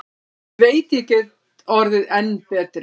Ég veit ég get orðið enn betri.